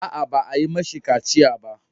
A'a, ba a yi mishi kaciya ko ba.